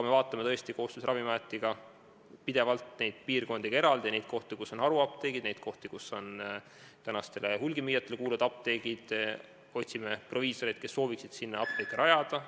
Me vaatame koos Ravimiametiga pidevalt eraldi ka neid piirkondi, neid kohti, kus on haruapteegid, neid kohti, kus asuvad tänastele hulgimüüjatele kuuluvad apteegid, ja otsime proviisoreid, kes sooviksid sinna apteegi rajada.